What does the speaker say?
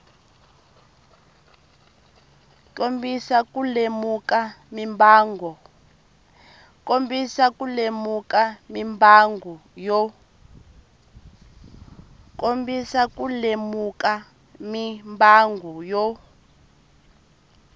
kombisa ku lemuka mimbangu yo